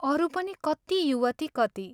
अरू पनि कति युवती कति.....